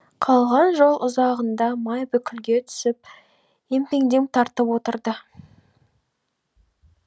қалған жол ұзағында май бүлкілге түсіп емпеңдеп тартып отырды